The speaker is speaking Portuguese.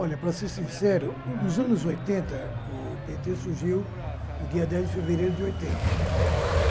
Olha, para ser sincero, nos anos oitenta, o pê tê surgiu no dia dez de fevereiro de oitenta.